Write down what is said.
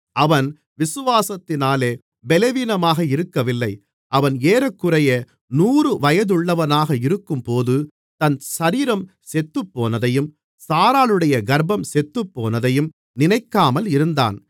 அவன் விசுவாசத்திலே பலவீனமாக இருக்கவில்லை அவன் ஏறக்குறைய நூறு வயதுள்ளவனாக இருக்கும்போது தன் சரீரம் செத்துப்போனதையும் சாராளுடைய கர்ப்பம் செத்துப்போனதையும் நினைக்காமல் இருந்தான்